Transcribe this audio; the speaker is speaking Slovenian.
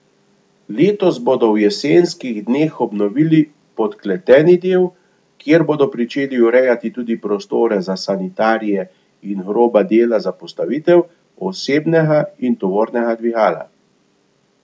Letos bodo v jesenskih dneh obnovili podkleteni del, kjer bodo pričeli urejati tudi prostore za sanitarije in groba dela za postavitev osebnega in tovornega dvigala.